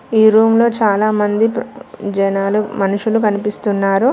ఈ రూమ్ లో చాలామంది జనాలు మనుషులు కనిపిస్తున్నారు.